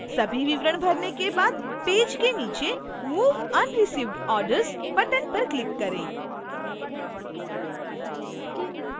सभी विवरण भरने के बाद पेज के नीचे move unreceived orders button पर click करें